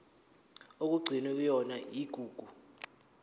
okugcinwe kuyona igugu